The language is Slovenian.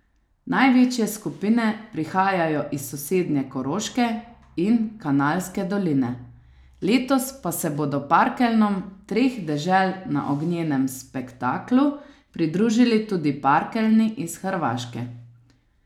Največje skupine prihajajo iz sosednje Koroške in Kanalske doline, letos pa se bodo parkeljnom treh dežel na Ognjenem spektaklu pridružili tudi parkeljni iz Hrvaške.